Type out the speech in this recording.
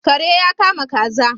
Kare ya kama kaza